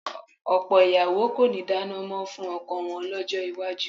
Ọ̀pọ̀ ìyàwó kò ní dáná mọ́ fún ọkọ wọn lọ́jọ́ iwájú